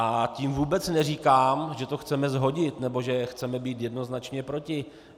A tím vůbec neříkám, že to chceme shodit nebo že chceme být jednoznačně proti.